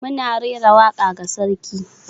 Muna rera waka ga sarki.